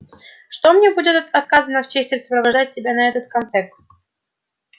что мне будет отказано в чести сопровождать тебя на этот комтек